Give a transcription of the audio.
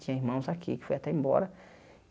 Tinha irmãos aqui, que foi até embora.